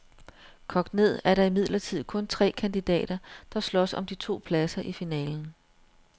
Kogt ned er der imidlertid kun tre kandidater, der slås om de to pladser i finalen.